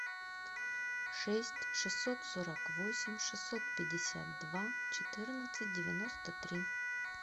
шесть шестьсот сорок восемь шестьсот пятьдесят два четырнадцать девяносто три